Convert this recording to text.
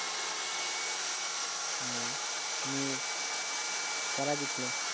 ও নিয়ে কারা জিতল?